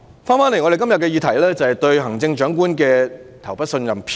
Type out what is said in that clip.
代理主席，回到今天的議題，即"對行政長官投不信任票"議案。